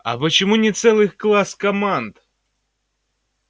а почему не целый класс команд